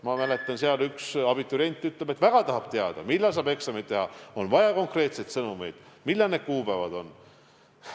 Ma mäletan, et üks abiturient ütles seal, et ta tahab väga teada, millal saab eksameid teha – on vaja konkreetseid sõnumeid, millal need kuupäevad on.